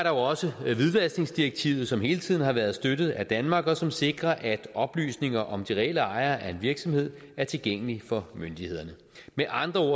jo også hvidvaskningsdirektivet som hele tiden har været støttet af danmark og som sikrer at oplysninger om de reelle ejere af en virksomhed er tilgængelige for myndighederne med andre ord